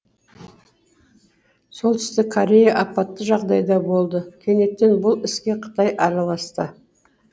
солтүстік корея апатты жағдайда болды кенеттен бұл іске қытай араласты